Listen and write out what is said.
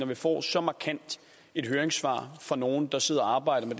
vi får så markant et høringssvar fra nogle der sidder og arbejder